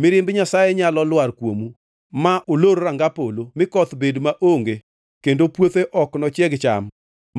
Mirimb Nyasaye nyalo lwar kuomu, ma olor ranga polo, mi koth bed maonge kendo puothe ok nochieg cham,